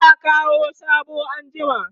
za'a Kawo soɓo anjima